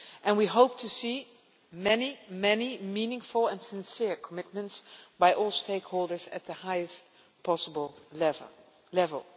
We hope to see many, many meaningful and sincere commitments by all stakeholders at the highest possible level.